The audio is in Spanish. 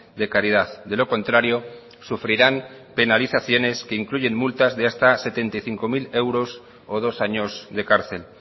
de caridad de lo contrario sufrirán penalizaciones que incluyen multas de hasta setenta y cinco mil euros o dos años de cárcel